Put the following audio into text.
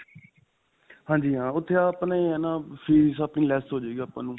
ਹਾਂਜੀ ਹਾਂ. ਉੱਥੇ ਆਪਣੇ ਇਹ ਹੈ ਨਾ ਫੀਸ ਆਪਣੀ less ਹੋਜੇਗੀ ਆਪਾਂ ਨੂੰ.